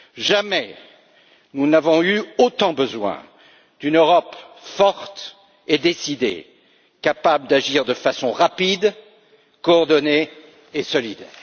Jamais nous n'avons eu autant besoin d'une Europe forte et décidée, capable d'agir de façon rapide, coordonnée et solide.